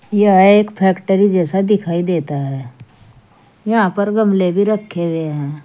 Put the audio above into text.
यह एक फैक्ट्री जैसा दिखाई देता है यहां पर गमले भी रखे हुए हैं।